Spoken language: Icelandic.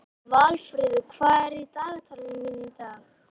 Valfríður, hvað er í dagatalinu mínu í dag?